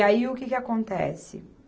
E aí, o que que acontece?